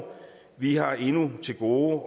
vi har endnu til gode